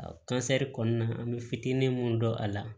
A kansɛri kɔnɔna an bɛ fitinin mun dɔn a la